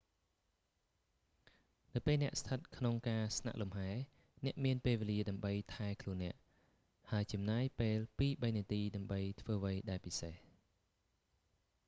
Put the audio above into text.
នៅពេលអ្នកស្ថិតក្នុងការស្នាក់លំហែ អ្នកមានពេលវេលាដើម្បីថែខ្លួនអ្នក ហើយចំណាយពេលពីរបីនាទីដើម្បីធ្វើអ្វីដែលពិសេស